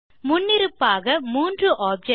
முன்னிருப்பாக மூன்று objectகள்